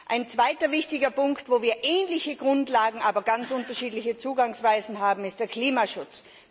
Ein zweiter wichtiger Punkt, wo wir ähnliche Grundlagen, aber ganz unterschiedliche Zugangsweisen haben, ist der Klimaschutz.